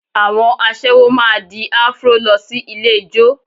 Àwọn aṣẹ́wó máa di Afro lọ sí ilé ijó